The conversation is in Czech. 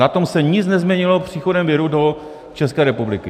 Na tom se nic nezměnilo příchodem viru do České republiky.